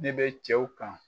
Ne be cɛw kan